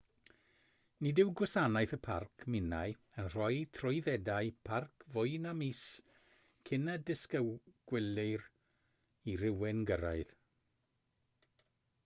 nid yw gwasanaeth y parc minae yn rhoi trwyddedau parc fwy na mis cyn y disgwylir i rywun gyrraedd